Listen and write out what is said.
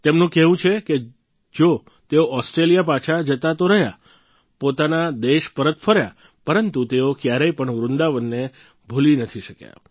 તેમનું કહેવું છે કે જો તેઓ ઓસ્ટ્રેલિયા પાછા જતા તો રહ્યા પોતાના દેશ પરત ફર્યા પરંતુ તેઓ ક્યારેય પણ વૃંદાવનને ક્યારેય ભૂલી નથી શક્યા